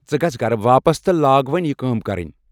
ژٕ گژھ گرٕ واپس تہٕ لاگہٕ وُنۍ یہِ کٲم کرٕنۍ۔